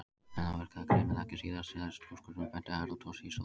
En það virkaði greinilega ekki síðast, sagði skúrkurinn og benti á Herra Toshizo.